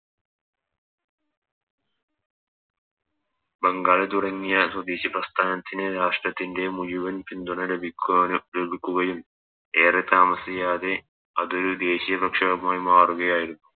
ബംഗാൾ തുടങ്ങിയ സ്വദേശി പ്രസ്ഥാനത്തിന് രാഷ്ട്രത്തിൻറെ മുയിവൻ പിന്തുണ ലഭിക്കാന് ലഭിക്കുകയും ഏറെ താമസിയാതെ അത് ദേശിയ പ്രക്ഷോഭമായി മാറുകയായിരുന്നു